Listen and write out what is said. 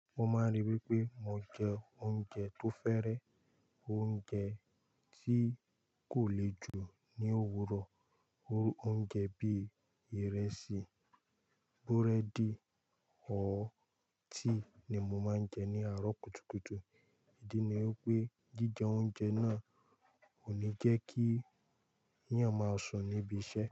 Mo máa ń ríi wí pé mo jẹ oúnjẹ tó fẹ́rẹ, oúnjẹ tí kò le jù ní òwúrọ̀. Oúnjẹ bí ìrẹsì, búrẹ́dì or tea ni mo máa ń jẹ ní àárọ̀ kùtùkùtù. Ìdí ni wipé jíjẹ oúnjẹ náà ò ní jẹ́ kí eyàn máa sùn níbi iṣẹ́